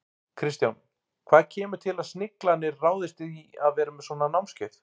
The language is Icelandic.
Kristján, hvað kemur til að Sniglarnir ráðist í að vera með svona námskeið?